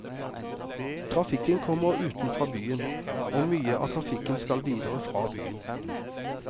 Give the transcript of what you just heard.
Trafikken kommer utenfra byen, og mye av trafikken skal videre fra byen.